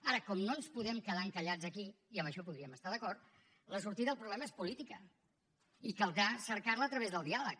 ara com no ens podem quedar encallats aquí i en això podríem estar d’acord la sortida al problema és política i caldrà cercar la a través del diàleg